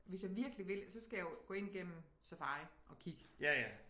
Hvis jeg virkelig vil så skal jeg jo gå ind gennem Safari at kigge